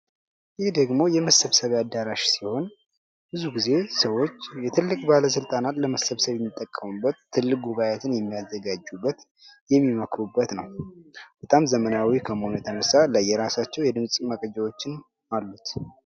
ይህ ደግሞ የመሰብሰቢያ አዳራሽ ሲሆን ብዙ ጊዜ ሰዎች ትልቅ ባለስልጣናት ለመሰብሰብ የሚጠቀሙበት ትልቅ ጉባኤያትን የሚያዘጋጁበት የሚመክሩበት ነው። በጣም ዘመናዊ ከመሆኑ የተነሳ ለየራሳቸው የድምፅ መረጃዎችን አሉት።